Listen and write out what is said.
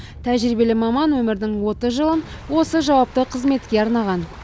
тәжірибелі маман өмірдің отыз жылын осы жауапты қызметке арнаған